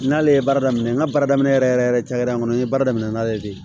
N'ale ye baara daminɛ n ka baara daminɛ yɛrɛ yɛrɛ yɛrɛ yɛrɛ kɔnɔ n ye baara daminɛ n'ale ye